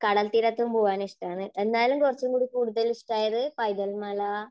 കടൽത്തീരത്ത് പോവാൻ ഇഷ്ടമാണ്. എന്നാലും കുറച്ചുകൂടി കൂടുതൽ ഇഷ്ടമായത് പൈതൽ മല